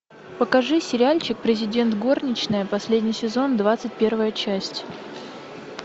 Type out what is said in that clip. покажи сериальчик президент горничная последний сезон двадцать первая часть